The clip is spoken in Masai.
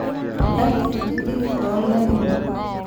Irr`dat kutitik too lairemok